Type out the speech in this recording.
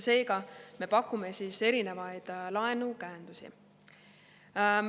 Seega, me pakume erinevaid laenukäendusi.